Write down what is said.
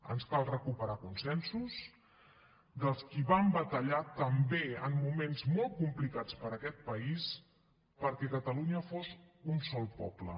ens cal recuperar consensos dels qui van batallar també en moments molt complicats per a aquest país perquè catalunya fos un sol poble